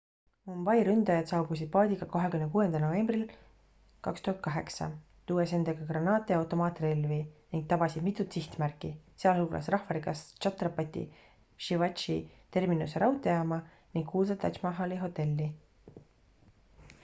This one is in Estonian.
mumbai ründajad saabusid paadiga 26 novembril 2008 tuues endaga granaate ja automaatrelvi ning tabasid mitut sihtmärki sealhulgas rahvarikast chhatrapati shivaji terminuse raudteejaama ning kuulsat taj mahali hotelli